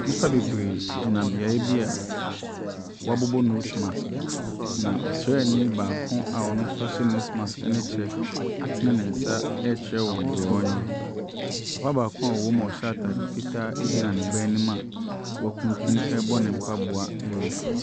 Nnipa bebree gyina beaeɛ bi a wɔabobɔ nose marsk. Na ɔsrani baako a ɔno nso ahyɛ nose marsk ne kyɛ atene ne nsa rekyerɛ wɔn deɛ wɔnyɛ. Papa baako a ɔwɔ mu a ɔhyɛ ataade fitaa egyina ne anim a wakutunu rebɔ ne mpaboa laize.